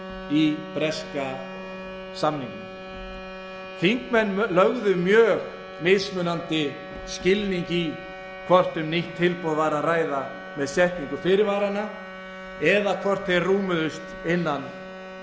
í breska samningnum þingmenn lögðu mismunandi skilning í hvort um nýtt tilboð væri að ræða með setningu fyrirvaranna eða hvort þeir rúmuðust innan